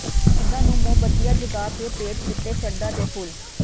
ਸ਼ਹੀਦਾਂ ਨੂੰ ਮੋਮਬੱਤੀਆਂ ਜਗਾ ਕੇ ਭੇਟ ਕੀਤੇ ਸ਼ਰਧਾ ਦੇ ਫੁੱਲ